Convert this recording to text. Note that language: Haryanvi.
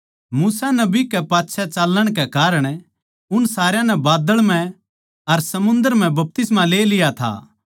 मूसा नबी कै पाच्छै चाल्लण के कारण उन सारया नै बाद्दळ म्ह अर समुन्दर म्ह बपतिस्मा ले लिया था